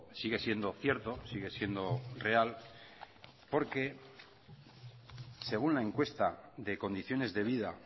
sigue siendo cierto sigue siendo real porque según la encuesta de condiciones de vida